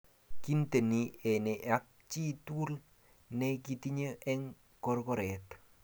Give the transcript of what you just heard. kinteni enee ak chi tukul ne kitinyo eng korkoret